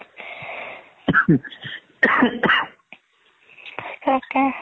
তাকেই